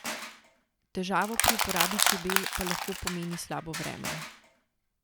Težavo pri uporabi čebel pa lahko pomeni slabo vreme.